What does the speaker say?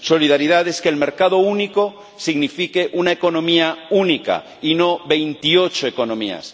Solidaridad es que el mercado único signifique una economía única y no veintiocho economías.